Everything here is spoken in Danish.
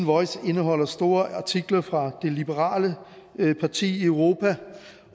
voice indeholder store artikler fra det liberale parti i europa